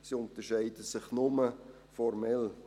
Sie unterscheiden sich nur formell.